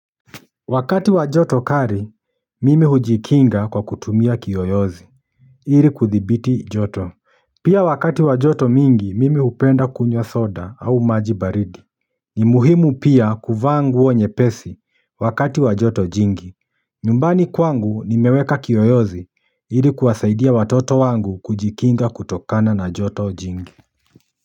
Wakati wa joto kali, mimi hujikinga kwa kutumia kiyoyozi ii kuthibiti joto, pia wakati wa joto mingi, mimi hupenda kunywa soda au maji baridi ni muhimu pia, kuvaa nguo nyepesi, wakati wa joto jingi nyumbani kwangu, nimeweka kiyoyozi, ili kuwasaidia watoto wangu, kujikinga kutokana na joto jingi.